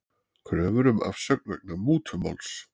Kröfur um afsögn vegna mútumáls